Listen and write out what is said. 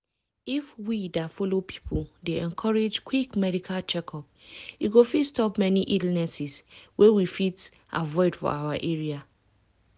if we det follow people dey encourage quick medical check-up e go fit stop many illnesses wey we fit avoid for our side.